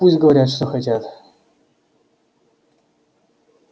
пусть говорят что хотят